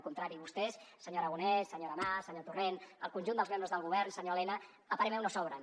al contrari vostès senyor aragonès senyora mas senyor torrent el conjunt dels membres del govern senyor elena a parer meu no sobren